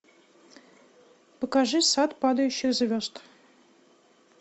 покажи сад падающих звезд